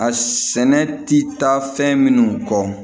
A sɛnɛ ti taa fɛn minnu kɔ